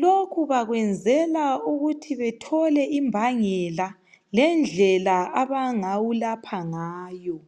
lokhu bakwenzela ukuthi bethole imbangela lendlela abangawulapha ngayo.